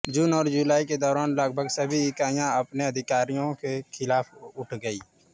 जून और जुलाई के दौरान लगभग सभी इकाइयां अपने अधिकारियों के खिलाफ उठ गईं